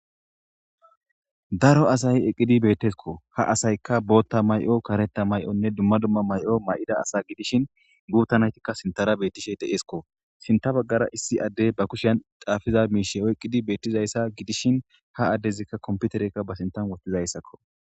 Daro asay eqqidi beetteskko , ha asaykka bootta mayo kareta mayonne dumma dumma mayo mayida asa gidishin guuttanaytikka sintara beettishe de eskko sinta baggara issi addey ba kushyan xaafiza miishe oyqqidi beettizayssa gidishin ha addezikka komputerekka ba sintan wotizayssakko.